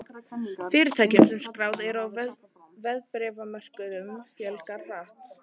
Fyrirtækjum sem skráð eru á verðbréfamörkuðum fjölgar hratt.